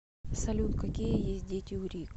салют какие есть дети у рик